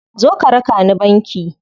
Zo ka raka ni banki.